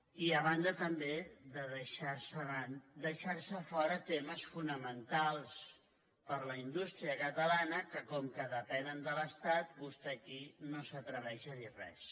i a banda també de deixar se fora temes fonamentals per a la indústria catalana que com que depenen de l’estat vostè aquí no s’atreveix a dir res